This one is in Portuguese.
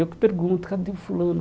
Eu que pergunto, cadê o fulano?